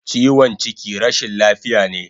Chiwon chiki rashin lafiya ne